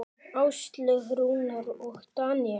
Áslaug, Rúnar og Daníel.